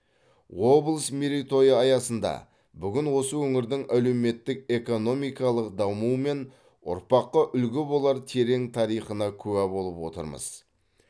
облыс мерейтойы аясында бүгін осы өңірдің әлеуметтік экономикалық дамуы мен ұрпаққа үлгі болар терең тарихына куә болып отырмыз